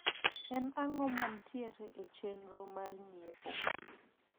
en ang`o mantiero e chendro na mar nyiepo